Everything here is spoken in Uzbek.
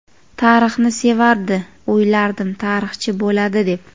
Tarixni sevardi, o‘ylardim tarixchi bo‘ladi deb.